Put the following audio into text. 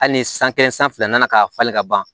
Hali ni san kelen san fila nana ka falen ka ban